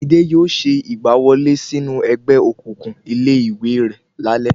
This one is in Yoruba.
Midé yóò ṣe ìgbà wọlé sínú ẹgbẹ́ òkùnkùn ilé ìwé rẹ̀ lálé